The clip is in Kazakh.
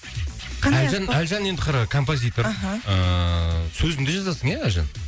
қандай аспап әлжан әлжан енді қара композитор аха ыыы сөзін де жазасың ия әлжан